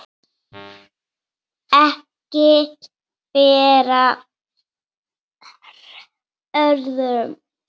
Ekki ber á öðru